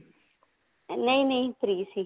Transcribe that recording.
ਨਹੀਂ ਨਹੀਂ free ਸੀ